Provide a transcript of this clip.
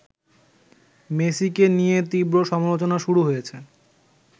মেসিকে নিয়ে তীব্র সমালোচনা শুরু হয়েছে